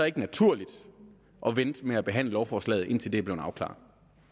ikke naturligt at vente med at behandle lovforslaget indtil det er blevet afklaret